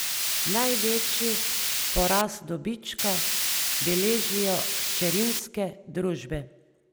Največji porast dobička beležijo hčerinske družbe.